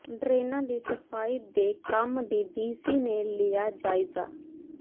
ਡਰੇਨਾਂ ਦੀ ਸਫ਼ਾਈ ਦੇ ਕੰਮ ਦਾ ਡੀਸੀ ਨੇ ਲਿਆ ਜਾਇਜ਼ਾ